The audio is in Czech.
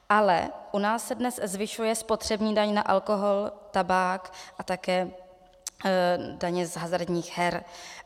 Ale u nás se dnes zvyšuje spotřební daň na alkohol, tabák a také daně z hazardních her.